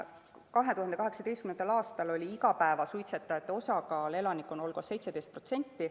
2018. aastal oli igapäevasuitsetajate osakaal elanikkonna hulgas 17%.